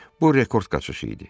Bu rekord qaçışı idi.